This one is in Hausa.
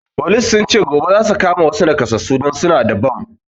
Folis sun ce gobe zasu kama wassu nakasassu don suna da bam